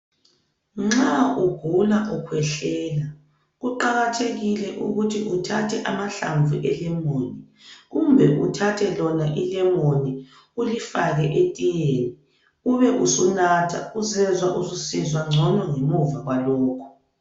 Nxa ugula ukhwehlela kuqakathekile ukuthi uthathe amahlamvu elemoni kumbe uthathe lona ilemoni ulifake etiyeni ube usulinatha uzezwa ususizwa ngcono ngemuva kwalokho.